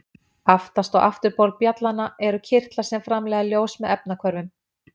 Aftast á afturbol bjallanna eru kirtlar sem framleiða ljós með efnahvörfum.